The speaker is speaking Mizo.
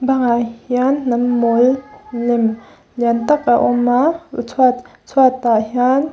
bangah hian hnam mawl lem lian tâk a awm a chhuat chhuatah hian--